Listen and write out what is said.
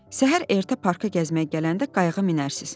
Səhər ertə parka gəzməyə gələndə qayıqa minərsiz.